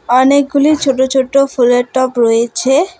অনেকগুলি ছোট ছোট ফুলের টব রয়েছে।